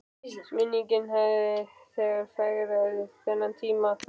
Minningin hafði þegar fegrað þennan tíma.